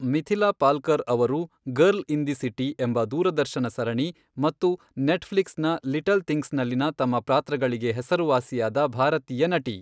ಮಿಥಿಲಾ ಪಾಲ್ಕರ್ ಅವರು girl in the city ಎಂಬ ದೂರದರ್ಶನ ಸರಣಿ ಮತ್ತು ನೆಟ್ಫ್ಲಿಕ್ಸ್ನ ಲಿಟಲ್ ಥಿಂಗ್ಸ್ನಲ್ಲಿನ ತಮ್ಮ ಪಾತ್ರಗಳಿಗೆ ಹೆಸರುವಾಸಿಯಾದ ಭಾರತೀಯ ನಟಿ.